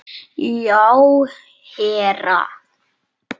Já, herra